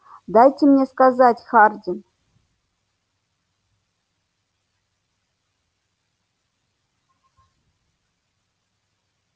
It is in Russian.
дайте мне сказать хардин